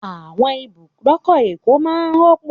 Àwọn ibùdókọ̀ Èkó máa n rọ́pọ̀